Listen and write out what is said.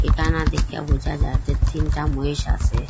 দেইখা বোঝা যাচ্ছে তিনটা মহিষ আসে।